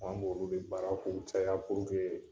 An' b'olu de baara kun caya